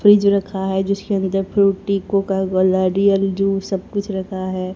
Fridge रखा है जिसके अंदर Frooti Coca Cola Real juice सब कुछ रखा है।